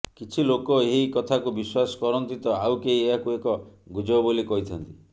କିଛି ଲୋକ ଏହି କଥାକୁ ବିଶ୍ୱାସ କରନ୍ତି ତ ଆଉ କେହି ଏହାକୁ ଏକ ଗୁଜବ ବୋଲି କହିଥାନ୍ତି